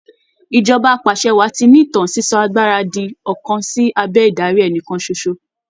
Ìjọba apàṣẹwàá ti ní ìtàn sísọ agbára di ọ̀kan sí abẹ́ ìdarí ẹnìkan ṣoṣo.